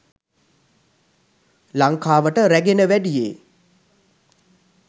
ලංකාවට රැගෙන වැඩියේ